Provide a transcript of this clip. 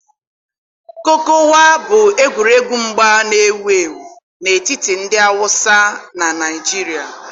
kokowa bụ egwuregwu mgba na-ewu ewu n'etiti ndị Hausa na Naịjirịa.